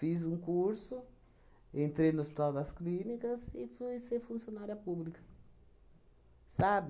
um curso, entrei no Hospital das Clínicas e fui ser funcionária pública, sabe?